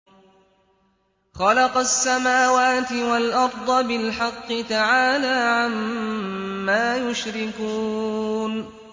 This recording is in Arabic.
خَلَقَ السَّمَاوَاتِ وَالْأَرْضَ بِالْحَقِّ ۚ تَعَالَىٰ عَمَّا يُشْرِكُونَ